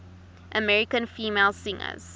american female singers